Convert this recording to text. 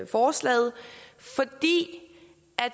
forslaget